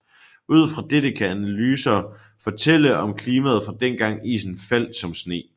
Ud fra dette kan analyser fortælle om klimaet fra dengang isen faldt som sne